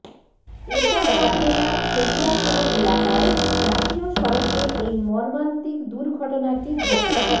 এটাওয়া জেলার ছবিয়া থানা এলাকায় জাতীয় সড়কে এই মর্মান্তিক দুর্ঘটনাটি ঘটে